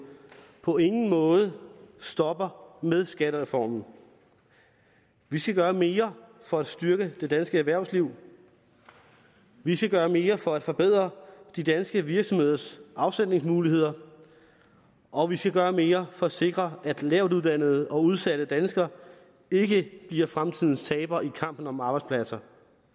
på ingen måde stopper med skattereformen vi skal gøre mere for at styrke det danske erhvervsliv vi skal gøre mere for at forbedre de danske virksomheders afsætningsmuligheder og vi skal gøre mere for at sikre at lavtuddannede og udsatte danskere ikke bliver fremtidens tabere i kampen om arbejdspladser